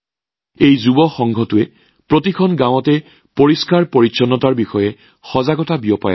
এই যুৱ ক্লাবটোৱেও প্ৰতিখন গাঁৱতে স্বচ্ছতাৰ সন্দৰ্ভত সজাগতা বিয়পাইছে